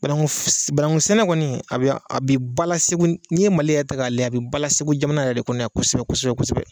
Banaku banakusɛnɛ kɔni a bi bala SEGU n'i ye MALI yɛrɛ ta k'a layɛ a bi bala SEGU jamana yɛrɛ de kɔnɔ yan kosɛbɛ kosɛbɛ.